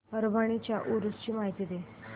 परभणी च्या उरूस ची माहिती दे